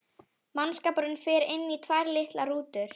Mannskapurinn fer inn í tvær litlar rútur.